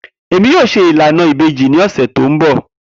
Emi yoo ṣe ilana ibeji ni ọsẹ to nbọ.